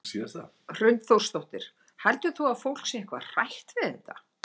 Hrund Þórsdóttir: Heldur þú að fólk sé eitthvað hrætt við þetta?